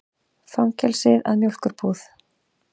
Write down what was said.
Fangelsið að mjólkurbúð.